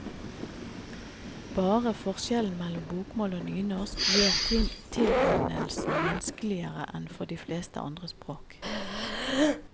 Bare forskjellen mellom bokmål og nynorsk gjør tilegnelsen vanskeligere enn for de fleste andre språk.